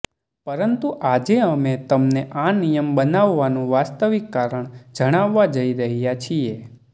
પરંતુ આજે અમે તમને આ નિયમ બનાવવાનું વાસ્તવિક કારણ જણાવવા જઈ રહ્યા છીએ